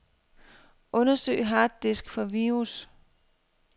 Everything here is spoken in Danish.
Undersøg harddisk for virus.